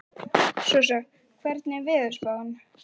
Sossa, hvernig er veðurspáin?